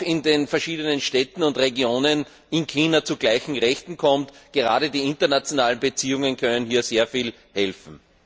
in den verschiedenen Städten und Regionen Chinas zu gleichen Rechten kommt. Gerade die internationalen Beziehungen können hier sehr viel helfen.